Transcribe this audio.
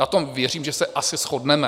Na tom, věřím, že se asi shodneme.